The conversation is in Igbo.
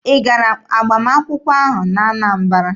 Ị gara agbamakwụkwọ ahụ n'Anambara?